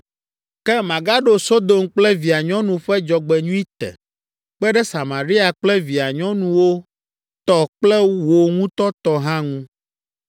“ ‘Ke magaɖo Sodom kple via nyɔnu ƒe dzɔgbenyui te, kpe ɖe Samaria kple via nyɔnuwo tɔ kple wò ŋutɔ tɔ hã ŋu,